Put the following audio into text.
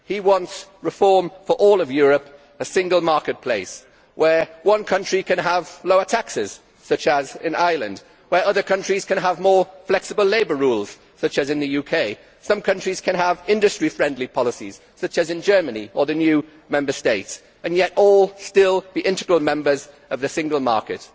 He wants reform for all of Europe a single marketplace where one country can have lower taxes, such as in Ireland, where other countries can have more flexible labour rules, such as in the UK, where some countries can have industry friendly policies such as in Germany or the new Member States, and yet all still be integral members of the single market.